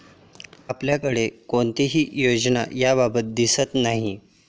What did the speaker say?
आपल्याकडे कोणतीही योजना याबाबत दिसत नाही.